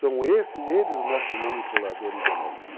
São eles os nossos manipuladores genéticos.